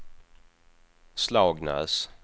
Slagnäs